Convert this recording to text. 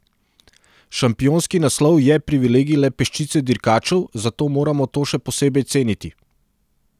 Šampionski naslov je privilegij le peščice dirkačev, zato moramo to še posebej ceniti.